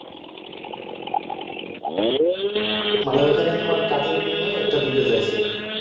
মনে হয়েছে না তোমার কাজের বিনিময় একটা দিতে চাইছে